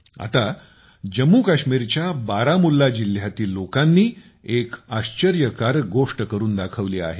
आत जम्मूकाश्मीरच्या बारामुल्ला जिल्ह्यातील लोकांनी एक आश्चर्यकारक गोष्ट करून दाखवली आहे